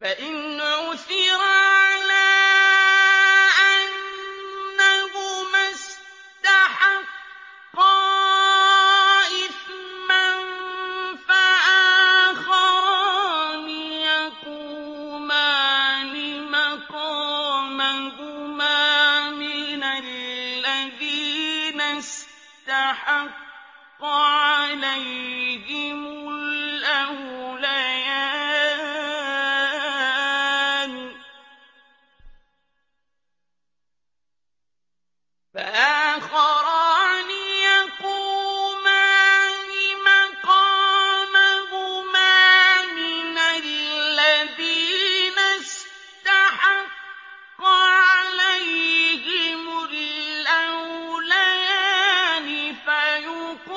فَإِنْ عُثِرَ عَلَىٰ أَنَّهُمَا اسْتَحَقَّا إِثْمًا فَآخَرَانِ يَقُومَانِ مَقَامَهُمَا مِنَ الَّذِينَ اسْتَحَقَّ عَلَيْهِمُ الْأَوْلَيَانِ فَيُقْسِمَانِ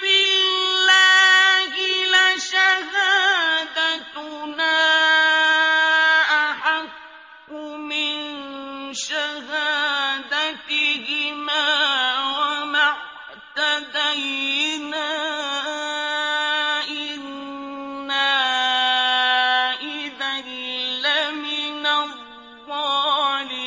بِاللَّهِ لَشَهَادَتُنَا أَحَقُّ مِن شَهَادَتِهِمَا وَمَا اعْتَدَيْنَا إِنَّا إِذًا لَّمِنَ الظَّالِمِينَ